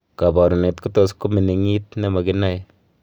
kaparunet kotus kominingit nemaginae